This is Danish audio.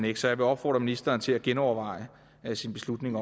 ikke så jeg vil opfordre ministeren til at genoverveje sin beslutning